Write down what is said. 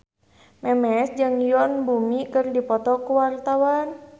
Memes jeung Yoon Bomi keur dipoto ku wartawan